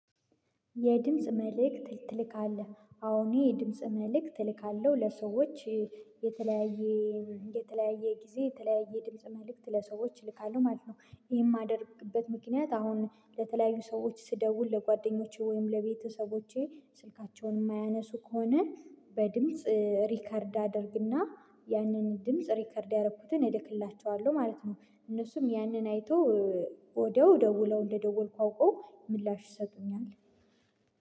የድምጽ መልእክት ትልካለህ አዎ አኔ የድምጽ መልእክት እልካለሁ ለሰዎች የተለያዬ የተለያየ ጊዜ የተለያየ ድምጽ መልእክት ለሰዎች እልካለሁ ማለት ነው። ይሄን የማደርግበት ምክንያት አሁን ለተለያዩ ሰዎች ስደውል ለጓደኞቼ ወይም ለቤተሰቦቼ ስልካቸውን የማያነሱ ከሆነ በድምጽ ሪከርድ አደርግና ያንን ድምጽ ሪከርድ ያደረኩትን እልክላቸዋለሁ ማለት ነው። እነሱም ያንን አይተው ወደያው ደውለው እንደደወልኩ አውቀው ምላሽ ይሰጡኛል።